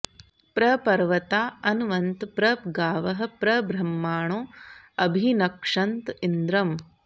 प्र पर्वता अनवन्त प्र गावः प्र ब्रह्माणो अभिनक्षन्त इन्द्रम्